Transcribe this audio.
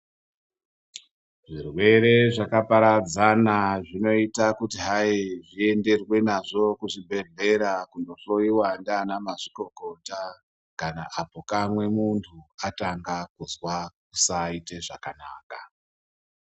Zvirwere zvakaparadzana zvinoita kuti Zviendwe nazvo kuzvibhedhlera kundofunda nana mazvikokota kana kukama muntu anga kunzwa kusaita zvakanaka.